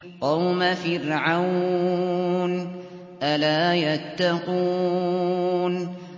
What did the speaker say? قَوْمَ فِرْعَوْنَ ۚ أَلَا يَتَّقُونَ